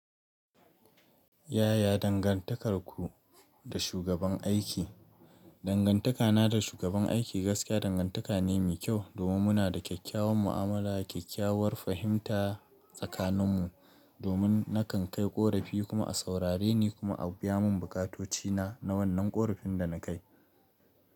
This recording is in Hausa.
Yaya dangantakarku da shugaban aiki? Dangantakana da shugaban aiki gaskiya dangantaka ne mai kyau domin muna da kyakkyawan mu'amala, kyakkyawar fahimta tsakaninmu, domin nakan kai korafi kuma a saurare ni kuma a biya mun bukatocina na wannan korafin da na kai.